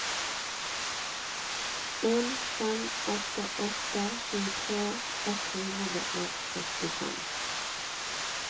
en fem åtte åtte tjuetre ett hundre og førtifem